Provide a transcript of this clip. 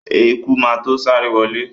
Eku má to sáré wọlé.